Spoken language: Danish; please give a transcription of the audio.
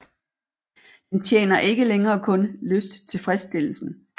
Den tjener ikke længere kun lysttilfredsstillelsen